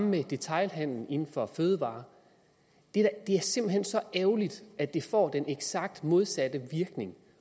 med detailhandelen inden for fødevarer det er simpelt hen så ærgerligt at det får den eksakt modsatte virkning